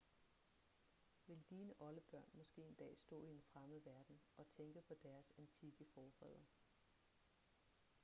vil dine oldebørn måske en dag stå i en fremmed verden og tænke på deres antikke forfædre